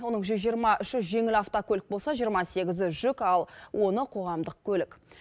оның жүз жиырма үші жеңіл автокөлік болса жиырма сегізі жүк ал оны қоғамдық көлік